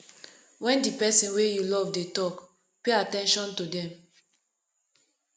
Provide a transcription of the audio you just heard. when di person wey you love dey talk pay at ten tion to them